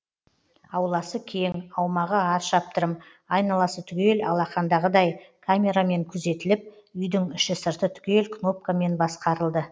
ауласы кең аумағы ат шаптырым айналасы түгел алақандағыдай камерамен күзетіліп үйдің іш сырты түгел кнопкамен басқарылды